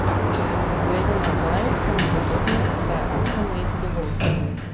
Ob pogledu nazaj sem ugotovil, da je osem let dovolj.